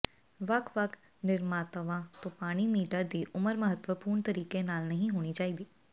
ਵੱਖ ਵੱਖ ਨਿਰਮਾਤਾਵਾਂ ਤੋਂ ਪਾਣੀ ਮੀਟਰ ਦੀ ਉਮਰ ਮਹੱਤਵਪੂਰਨ ਤਰੀਕੇ ਨਾਲ ਨਹੀਂ ਹੋਣੀ ਚਾਹੀਦੀ